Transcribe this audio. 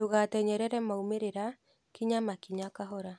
Ndũgatenyerere maumĩrĩra, kinya makinya kahora.